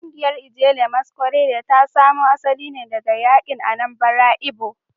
Kungiyar Ijele Masquerade ta samo asali ne daga yankin Anambra Igbo